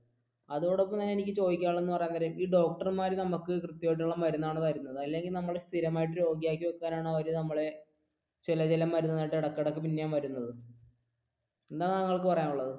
അതോടപ്പം എനിക്ക് ചോദിക്കിക്കാണുള്ളത് എന്ന് പറയാൻ നേരം ഈ ഡോക്ടർ മാർ നമുക്ക് കൃത്യമായിട്ടുള്ള മരുന്നാണോ തരുന്നത് അല്ലെങ്കിൽ നമ്മളെ സ്ഥിരമായി രോഗി ആയിട്ട് വെക്കാനാണോ അവർ നമ്മളെ ചില ചില മരുന്നുമായിട് ഇടക്ക് ഇടക്ക് പിന്നേം വരുന്നത് എന്താണ് താങ്കൾക്ക് പറയാനുള്ളത്